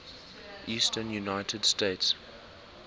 eastern united states